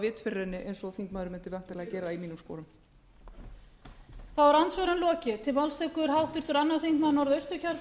vit fyrir henni eins og þingmaðurinn mundi væntanlega gera í mínum sporum